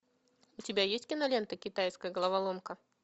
у тебя есть кинолента китайская головоломка